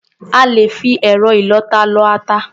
À lè fi ẹ̀rọ ìlọ-ata lọ ata.